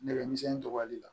Nɛgɛ misɛnnin dɔgɔyali la